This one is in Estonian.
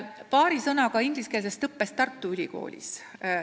Paari sõnaga ingliskeelsest õppest Tartu Ülikoolis.